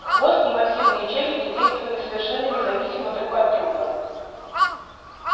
хвост и массивные челюсти действовали совершенно независимо друг от друга